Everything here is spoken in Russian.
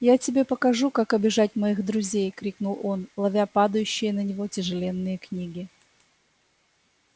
я тебе покажу как обижать моих друзей крикнул он ловя падающие на него тяжеленные книги